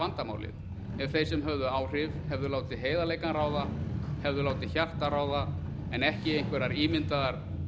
vandamálið ef þeir sem höfðu áhrif hefðu látið heiðarleikann ráða hefðu látið hjartað ráða en ekki einhverjar ímyndaðar